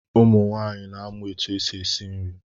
Ụmụ nwaanyị na amụ etụ esi esi nri.